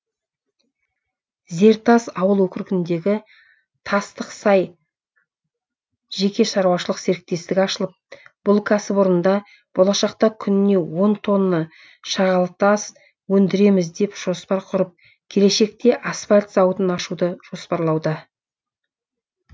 зертас ауыл округіндегі тастық сай жеке шаруашылық серіктестігі ашылып бұл кәсіпорында болашақта күніне он тонна шағалтас өндіреміз деп жоспар құрып келешекте асфальт зауытын ашуды жоспарлауда